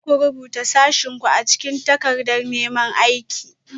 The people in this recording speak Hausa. Za ku rubuta sashenku a cikin takardar neman aiki?